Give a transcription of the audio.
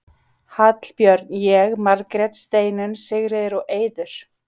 Hallbjörn, ég, Margrét, Steinunn, Sigríður og Eiður.